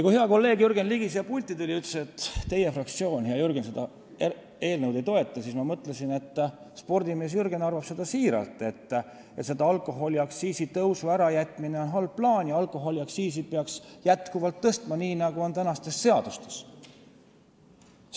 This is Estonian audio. Kui hea kolleeg Jürgen Ligi siia pulti tuli ja ütles, et Reformierakonna fraktsioon ja Jürgen ise seda eelnõu ei toeta, siis ma mõtlesin, et spordimees Jürgen arvab siiralt, et alkoholiaktsiisi tõusu ärajätmine on halb plaan ja alkoholiaktsiisi peaks jätkuvalt tõstma, nii nagu on kirjas tänastes seadustes.